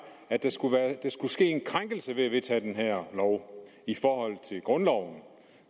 at der skulle ske en krænkelse ved at vedtage den her lov i forhold til grundloven